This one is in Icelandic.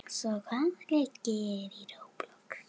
Flytur tríóið tónlist eftir Ludvig.